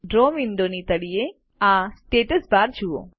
draw વિન્ડોની તળિયે આ સ્ટેટસ બારને જુઓ